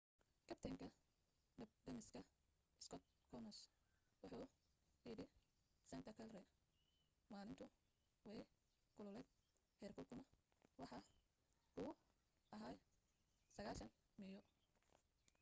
kabtanka dabdamiska skot kouns wuxu yidhi santa clara maalintu way kululayd heerkulkuna waxa uu ahaa 90meeyo